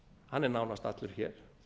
hann er nánast allur hér